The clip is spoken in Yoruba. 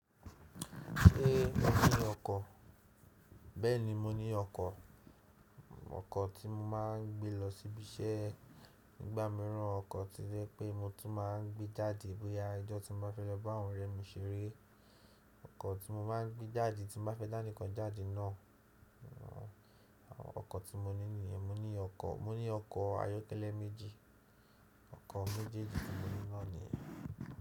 Ṣé mo ní ọkọ̀? Bẹ́ẹ̀ni mo ní ọkọ̀, ọkọ̀ tí mo máa ń gbé lọ síbi iṣẹ́ nígbà mìíràn ọkọ̀ ti rẹ pé mo tún máa ń gbé jáde bóyá ijọ́ tí mo bá fẹ́ lọ bá àwọn ọ̀rẹ́ mi ṣeré, ọkọ̀ tí mo máa ń gbé jáde tí mo bá fẹ́ dá nìkan jáde náà. Ọkọ̀ tí mo ní nìyẹn, mo ní ọkọ̀, mo ní ọkọ̀ ayọ́kẹ́lẹ́ méjì, ọkọ̀ méjèèjì tí mo ní náà nìyẹn.